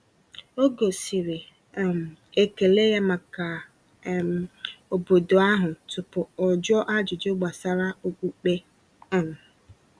O gosiri um ekele ya maka um obodo ahụ tupu o jụọ ajụjụ gbasara okpukpe. um